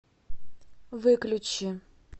выключи